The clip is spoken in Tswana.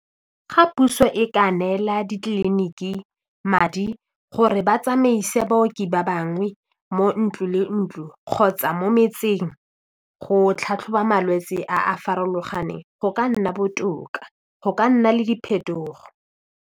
Ga puso e ka neela ditleliniki madi gore ba tsamaise baoki ba bangwe mo ntlo le ntlo kgotsa mo metseng go tlhatlhoba malwetse a a farologaneng go ka nna botoka go ka nna le diphetogo.